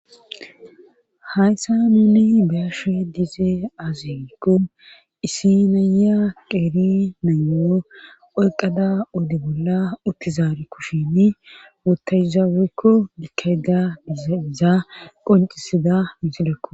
hayssa muuni baashe diize azerikko isinaya qeeri nanyo oyqada ode bolla uttizaari kushini wotayzawekko dikada iza qoncisida mixilekko